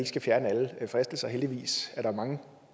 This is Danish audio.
skal fjerne alle fristelser heldigvis er der mange